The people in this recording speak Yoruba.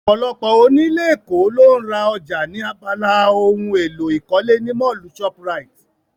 Ọ̀pọ̀lọpọ̀ onílé ní Èkó ló ń ra ọjà ní abala ohun èlò ìkọ́lé ní Mọ́ọ̀lù shoprite